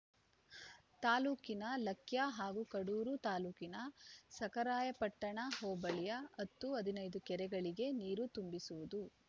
ತಾಲೂಕಿನ ಲಕ್ಯಾ ಹಾಗೂ ಕಡೂರು ತಾಲೂಕಿನ ಸಖರಾಯಪಟ್ಟಣ ಹೋಬಳಿಯ ಹತ್ತು ಹದಿನೈದು ಕೆರೆಗಳಿಗೆ ನೀರು ತುಂಬಿಸುವುದು